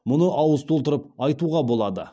мұны ауыз толтырып айтуға болады